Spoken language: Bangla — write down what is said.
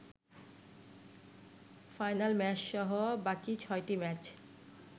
ফাইনাল ম্যাচসহ বাকি ছয়টি ম্যাচ